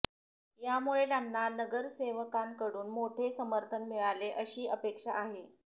यामुळे त्यांना नगरसेवकांकडुन मोठे समर्थन मिळेल अशी अपेक्षा आहे